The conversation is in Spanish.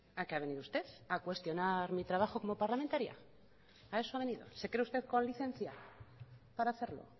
a qué ha venido usted a cuestionar mi trabajo como parlamentaria a eso ha venido se cree usted con licencia para hacerlo